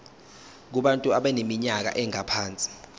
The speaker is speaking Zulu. kubantu abaneminyaka engaphansi